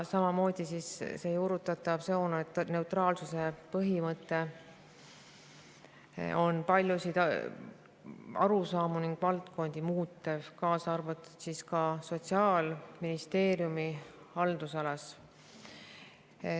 Samamoodi on see juurutatav sooneutraalsuse põhimõte paljusid arusaamu ning valdkondi muutev, kaasa arvatud Sotsiaalministeeriumi haldusalas.